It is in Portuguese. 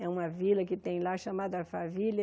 É uma vila que tem lá, chamada Alphaville.